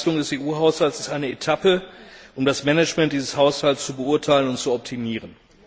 Die Entlastung des EU Haushalts ist eine Etappe, um das Management dieses Haushalts zu beurteilen und zu optimieren.